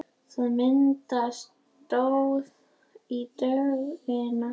Það myndaðist slóð í dögg- ina þar sem hann gekk.